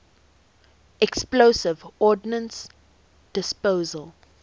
explosive ordnance disposal